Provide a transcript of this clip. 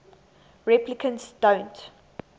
replicants don't